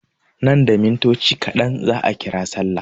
Nan da mintoci kaɗan za a ƙira sallah.